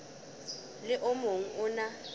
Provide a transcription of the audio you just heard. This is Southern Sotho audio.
le o mong o na